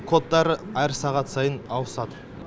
кодтары әр сағат сайын ауысады